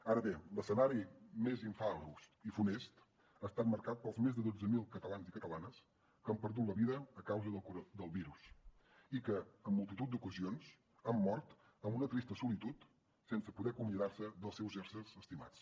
ara bé l’escenari més infaust i funest ha estat marcat pels més de dotze mil catalans i catalanes que han perdut la vida a causa del virus i que en multitud d’ocasions han mort en una trista solitud sense poder acomiadar se dels seus éssers estimats